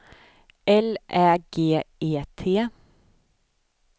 L Ä G E T